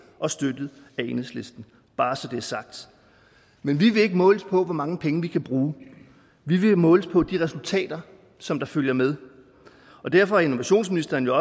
og støttet af enhedslisten bare så det er sagt men vi vil ikke måles på hvor mange penge vi kan bruge vi vil måles på de resultater som følger med og derfor er innovationsministeren jo